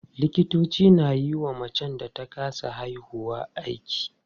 Likitoci na yiwa macen da ta kasa haihuwa aiki.